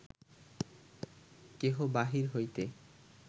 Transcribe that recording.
কেহ বাহির হইতে